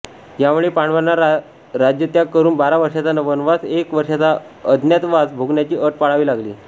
यामुळे पांडवांना राज्यत्याग करून बारा वर्षांचा वनवास व एक वर्षाचा अज्ञातवास भोगण्याची अट पाळावी लागली